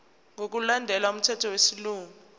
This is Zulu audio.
ngokulandela umthetho wesilungu